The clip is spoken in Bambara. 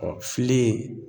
filen